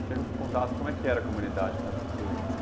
Eu quero que você contasse como era a comunidade quando era pequeno assim